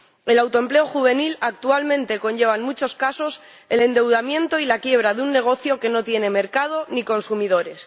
El autoempleo juvenil actualmente conlleva, en muchos casos, el endeudamiento y la quiebra de un negocio que no tiene mercado ni consumidores.